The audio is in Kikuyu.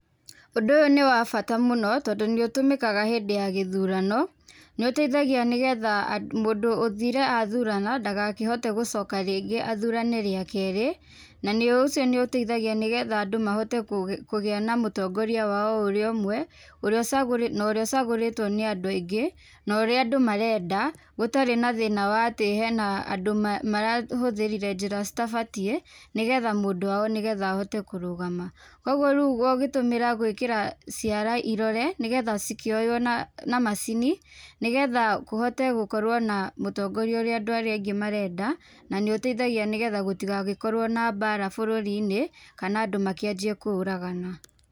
Ũndũ ũyũ nĩ wa bata mũno tondũ nĩũtũmĩkaga hĩndĩ ya gĩthurano, nĩũteithagia nĩgetha , mũndũ ũthire athurana, ndagakĩhote gũcoka rĩngĩ athurane rĩa keerĩ nĩũcio nĩuteithagia andũ mahote kũgĩa na mũtongoria wao o ũrĩa ũmwe, norĩa ũcagũrĩtwo nĩ andũ aingĩ, norĩa andũ marenda, gũtarĩ na thĩna wa atĩ hena andũ marahũthĩrire njĩra citabatiĩ nĩgetha mũndũ wao nĩgetha ahote kũrũgama. Koguo rĩu ũgĩtũmĩra gwĩkĩra ciara irore nĩgetha cikĩoyo na macini, nĩgetha kũhote gũkorwo na mũtongoria ũrĩa andũ aingĩ marenda, na nĩ ũtaeithagia nĩgetha gũtigagĩkorwo na bara bũrũri-inĩ kana andũ makĩanjie kũũragana.